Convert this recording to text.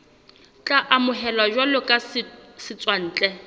tla amohelwa jwalo ka setswantle